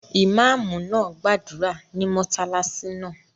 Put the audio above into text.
Ìmáàmù náà gbàdúrà ní mọ́sálásí náà